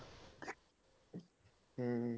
ਹਮ